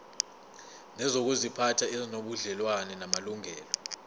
nezokuziphatha ezinobudlelwano namalungelo